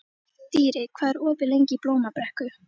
Dýri, hvað er opið lengi í Blómabrekku?